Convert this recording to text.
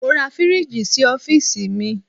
Mo ra fíríjì sí ọ́fíìsì mi.